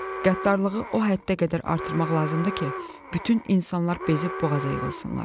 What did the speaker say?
Qəddarlığı o həddə qədər artırmaq lazımdır ki, bütün insanlar bezib boğaza yığılsınlar.